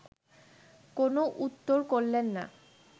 কোনো উত্তর করলেন না